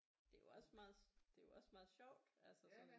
Det er jo også meget det er jo også meget sjovt altså sådan